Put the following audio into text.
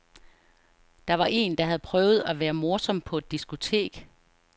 Der var en, der havde prøvet at være morsom på et diskotek.